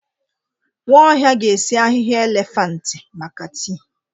Nwaohia ga-esi ahịhịa elefantị maka tii.